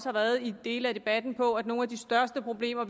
har været i dele af debatten på at nogle af de største problemer